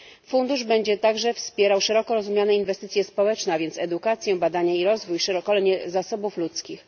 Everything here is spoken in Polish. Fundusz będzie także wspierał szeroko rozumiane inwestycje społeczne, a więc edukację, badania i rozwój, szkolenie zasobów ludzkich.